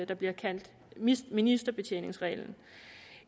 der bliver kaldt ministerbetjeningsreglen